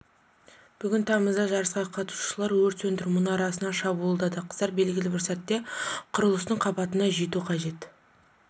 бүгін тамызда жарысқа қатысушылар өрт сөндіру мұнарасына шабуылдады қыздар белгілі бір сәтте құрылыстың қабатына жету қажет